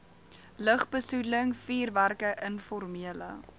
lugbesoedeling vuurwerke informele